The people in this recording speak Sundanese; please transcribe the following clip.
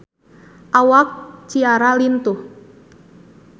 Awak Ciara lintuh